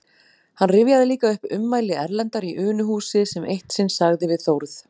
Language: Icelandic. Hann rifjaði líka upp ummæli Erlendar í Unuhúsi, sem eitt sinn sagði við Þórð